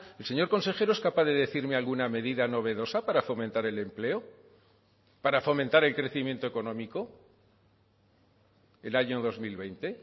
el señor consejero es capaz de decirme alguna medida novedosa para fomentar el empleo para fomentar el crecimiento económico el año dos mil veinte